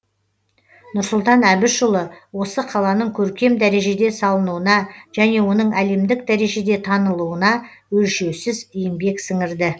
нұрсұлтан әбішұлы осы қаланың көркем дәрежеде салынуына және оның әлемдік дәрежеде танылуына өлшеусіз еңбек сіңірді